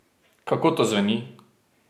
Kako to zveni?